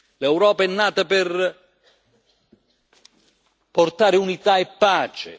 L'Europa è nata per portare unità e pace.